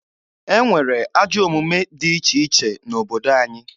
E nwere ajọ omume dị iche iche n'obodo anyị.